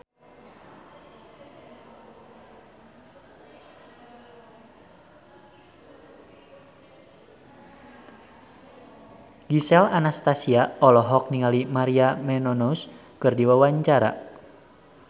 Gisel Anastasia olohok ningali Maria Menounos keur diwawancara